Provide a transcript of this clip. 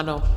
Ano.